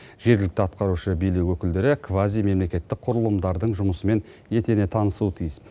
жергілікті атқарушы билік өкілдері квазимемлекеттік құрылымдардың жұмысымен етене танысуы тиіс